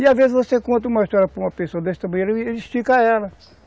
E às vezes você conta uma história para uma pessoa desse tamanho, ele estica ela.